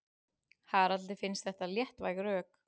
Haraldi finnst þetta léttvæg rök.